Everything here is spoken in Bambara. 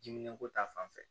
Diminenko ta fanfɛ